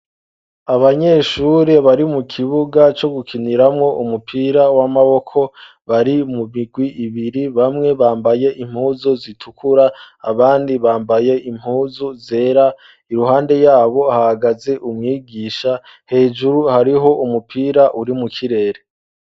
abanyeshuri bari mu kibuga cyo gukiniramwo umupira w'amaboko bari mumigwi ibiri bamwe bambaye impuzu zitukura abandi bambaye impuzu zera iruhande yabo hagaze umwigisha hejuru hariho umupira urimu kirere